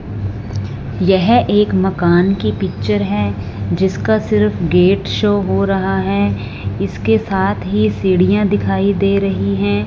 यह एक मकान की पिक्चर है जिसका सिर्फ गेट शो हो रहा है इसके साथ ही सीढ़ियां दिखाई दे रही है।